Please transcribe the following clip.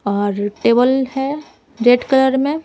और टेबल है red colour में--